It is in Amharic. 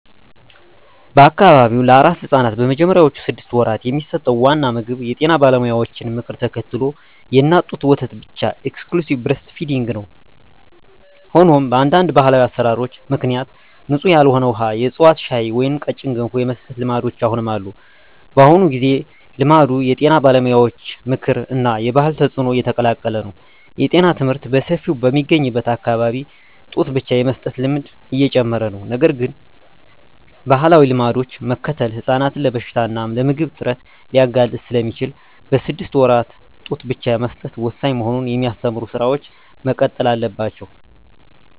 በአካባቢው ለአራስ ሕፃናት በመጀመሪያዎቹ ስድስት ወራት የሚሰጠው ዋና ምግብ የጤና ባለሙያዎችን ምክር ተከትሎ የእናት ጡት ወተት ብቻ (Exclusive Breastfeeding) ነው። ሆኖም፣ በአንዳንድ ባህላዊ አሠራሮች ምክንያት ንጹሕ ያልሆነ ውሃ፣ የዕፅዋት ሻይ ወይም ቀጭን ገንፎ የመስጠት ልማዶች አሁንም አሉ። በአሁኑ ጊዜ፣ ልማዱ የጤና ባለሙያዎች ምክር እና የባህል ተጽዕኖ የተቀላቀለ ነው። የጤና ትምህርት በሰፊው በሚገኝበት አካባቢ ጡት ብቻ የመስጠት ልማድ እየጨመረ ነው። ነገር ግን፣ ባህላዊ ልማዶችን መከተል ሕፃናትን ለበሽታ እና ለምግብ እጥረት ሊያጋልጥ ስለሚችል፣ በስድስት ወራት ጡት ብቻ መስጠት ወሳኝ መሆኑን የሚያስተምሩ ሥራዎች መቀጠል አለባቸው።